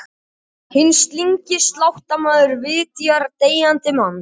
Hinn slyngi sláttumaður vitjar deyjandi manns.